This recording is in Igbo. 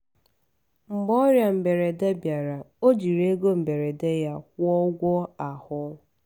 mgbe ọrịa mberede bịara ọ jiri ego mberede ya kwụọ ụgwọ ahụ.